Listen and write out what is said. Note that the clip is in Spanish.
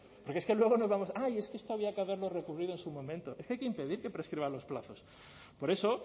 porque es que luego nos vamos ay es que esto había que haberlo recurrido en su momento es que hay que impedir que prescriban los plazos por eso